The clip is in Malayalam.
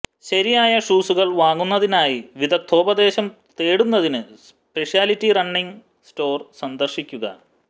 ശരിയായ ഷൂസുകൾ വാങ്ങുന്നതിനായി വിദഗ്ദ്ധോപദേശം നേടുന്നതിന് സ്പെഷ്യാലിറ്റി റണ്ണിംഗ് സ്റ്റോർ സന്ദർശിക്കുക